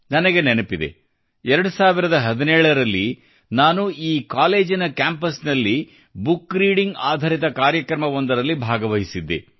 ನನಗೆ ನೆನಪಿದೆ 2017 ರಲ್ಲಿ ನಾನು ಈ ಕಾಲೇಜಿನ ಕ್ಯಾಂಪಸ್ನಲ್ಲಿ ಬುಕ್ರೀಡಿಂಗ್ ಆಧರಿತ ಕಾರ್ಯಕ್ರಮವೊಂದರಲ್ಲಿ ಭಾಗವಹಿಸಿದ್ದೆ